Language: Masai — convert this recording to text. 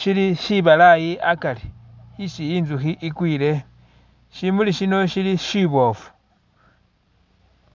shili shibalayi akari isi i'nzukhi i'kwile, shimuli shino shili shiboofu